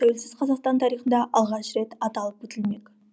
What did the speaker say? тәуелсіз қазақстан тарихында алғаш рет аталып өтілмек